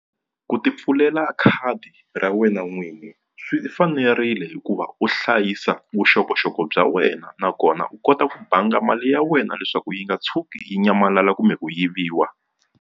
Ku tipfulela khadi ra wena n'winyi swi fanerile hikuva u hlayisa vuxokoxoko bya wena nakona u kota ku banga mali ya wena leswaku yi nga tshuki yi nyamalala kumbe ku yiviwa.